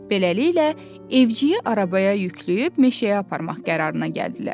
Beləliklə, evciyi arabaya yükləyib meşəyə aparmaq qərarına gəldilər.